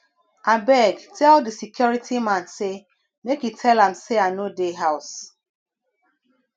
abeg tell di security man sey make e tell am sey i no dey house